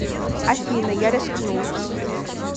афина я рискну